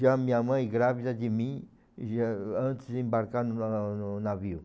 Já minha mãe grávida de mim já antes de embarcar na no navio.